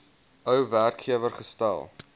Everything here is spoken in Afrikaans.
ou werkgewer gestel